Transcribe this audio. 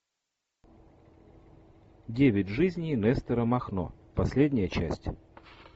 девять жизней нестора махно последняя часть